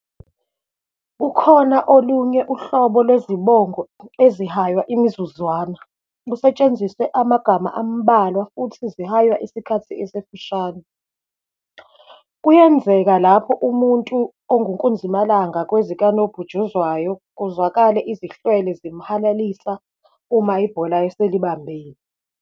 Kukhona olunye uhlobo lwezibongo ezihanyawa imizuzwana, kusetshenziswa amagama ambalwa futhi zihaywa isikhathi esifushane. Kuyenzeka lapho umuntu ongunkunzimalanga kwezikanoputshuzwayo, kuwazwale izihlwele zimhalelisa uma ibhola eselibambile.